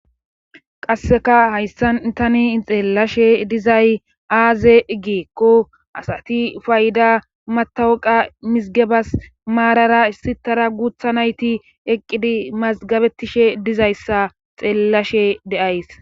qasseka hayssan tani xeellashe dizay aaze igieqo asati fayda matawuqa misgebas maarara issi tara guutha nayti eqqidi mazgabetishe dizayssa xeellashe deays